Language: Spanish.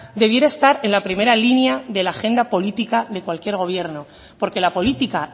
debiera estar en la primera línea de la agenda política de cualquier gobierno porque la política